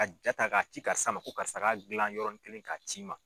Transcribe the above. Ka jaa ta k'a ci karisa ma ko karisa ka gilan yɔrɔnin kelen k'a c'i ma.